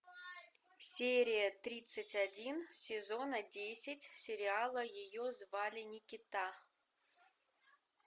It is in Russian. серия тридцать один сезона десять сериала ее звали никита